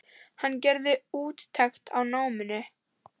Hann gerði úttekt á náminu.